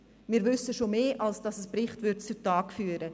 Wir wissen schon mehr als ein Bericht zu Tage bringen würde.